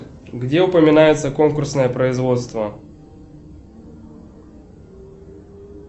где упоминается конкурсное производство